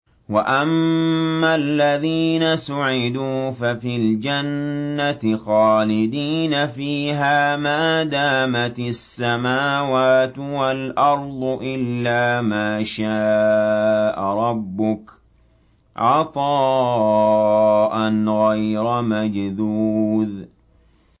۞ وَأَمَّا الَّذِينَ سُعِدُوا فَفِي الْجَنَّةِ خَالِدِينَ فِيهَا مَا دَامَتِ السَّمَاوَاتُ وَالْأَرْضُ إِلَّا مَا شَاءَ رَبُّكَ ۖ عَطَاءً غَيْرَ مَجْذُوذٍ